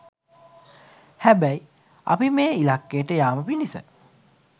හැබැයි අපි මේ ඉලක්කයට යාම පිණිස